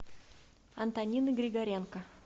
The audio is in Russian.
антонины григоренко